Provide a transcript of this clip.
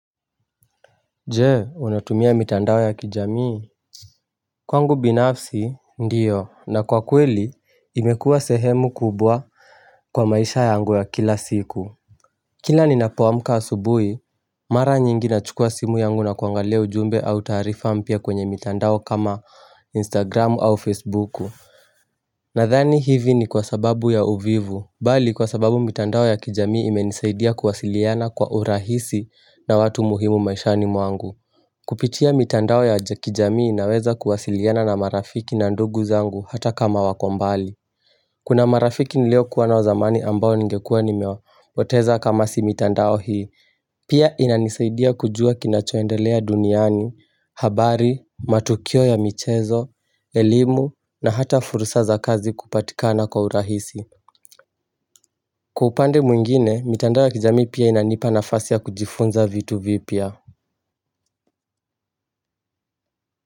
Jee unatumia mitandao ya kijamii kwangu binafsi ndiyo na kwa kweli imekuwa sehemu kubwa kwa maisha yangu ya kila siku kila ninapoamka asubuhi mara nyingi nachukua simu yangu na kuangalia ujumbe au taarifa mpya kwenye mitandao kama instagram au facebook nadhani hivi ni kwa sababu ya uvivu bali kwa sababu mitandao ya kijamii imenisaidia kuwasiliana kwa urahisi na watu muhimu maishani mwangu Kupitia mitandao ya kijamii naweza kuwasiliana na marafiki na ndugu zangu hata kama wako mbali Kuna marafiki niliokuwa nao zamani ambao ningekuwa nimewapoteza kama si mitandao hii Pia inanisaidia kujua kinachoendelea duniani, habari, matukio ya michezo, elimu na hata fursa za kazi kupatikana kwa urahisi Kwa upande mwingine, mitandao ya kijamii pia inanipa nafasi ya kujifunza vitu vipya.